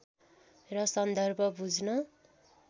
र सन्दर्भ बुझ्न